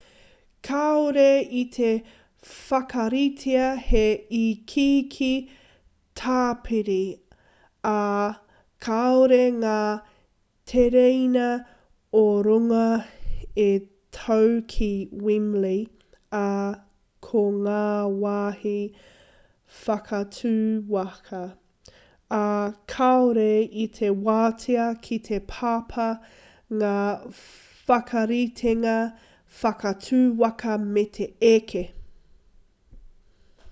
kāore i te whakaritea he ikiiki tāpiri ā kāore ngā tereina o-runga e tau ki wembley ā ko ngā wāhi whakatū waka ā kāore i te wātea ki te papa ngā whakaritenga whakatū waka me te eke